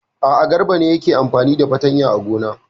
A'a, Garba ne yake amfani da fatanya a gona.